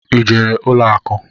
I jere ụlọ akụ?